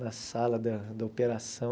Na sala da da operação.